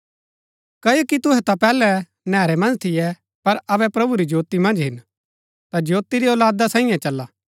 क्ओकि तुहै ता पैहलै नैहरै मन्ज थियै पर अबै प्रभु री ज्योति मन्ज हिन ता ज्योति री औलादा सांईये चला